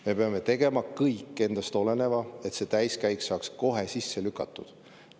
Me peame tegema kõik endast oleneva, et see täiskäik saaks kohe sisse lükatud.